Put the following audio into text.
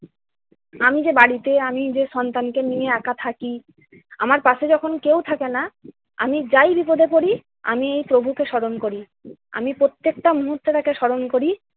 আমি যে বাড়িতে আমি যে সন্তানকে নিয়ে একা থাকি, আমার পাশে যখন কেউ থাকেনা, আমি যাই বিপদে পড়িতে আমি প্রভুকে স্মরণ করি। আমি প্রত্যেকটা মুহূর্তে তাকে স্মরণ করি।